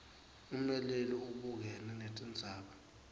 ummeleli ubukene netindzaba